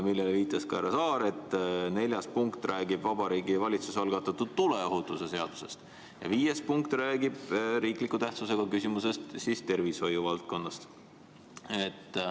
Sellele viitas ka härra Saar, et neljas punkt räägib Vabariigi Valitsuse algatatud tuleohutuse seadusest ja viies punkt räägib riikliku tähtsusega küsimusest, tervishoiuvaldkonnast.